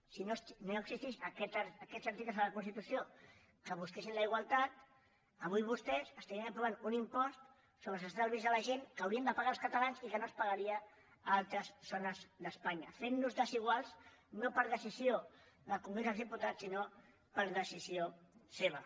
si no existissin aquests articles a la constitució que busquessin la igualtat avui vostès estarien aprovant un impost sobre els estalvis de la gent que haurien de pagar els catalans i que no es pagaria a altres zones d’espanya i ens farien desiguals no per decisió del congrés dels diputats sinó per decisió seva